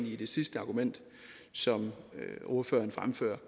i det sidste argument som ordføreren fremfører